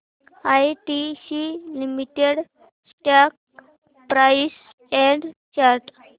ITC limited stock price and chart